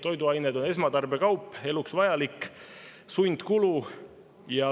Toiduained on esmatarbekaup, eluks vajalik, sundkulu.